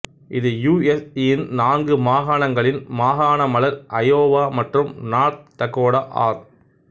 இது U S யின் நான்கு மாகாணங்களின் மாகாண மலர் அயோவா மற்றும் நார்த் டக்கொடா ஆர்